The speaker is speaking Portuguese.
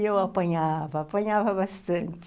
E eu apanhava, apanhava bastante.